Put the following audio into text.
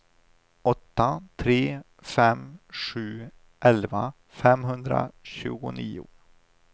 åtta tre fem sju elva femhundratjugonio